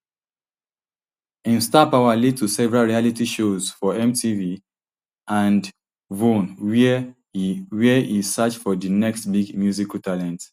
im star power lead to several reality shows for mtv and vhone wia e wia e search for di next big musical talent